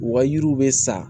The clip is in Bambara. U ka yiriw bɛ sa